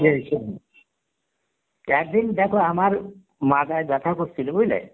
একদিন দেখো আমার মাথায় ব্যথা করছিল বুজলে